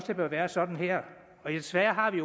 det bør være sådan her desværre har vi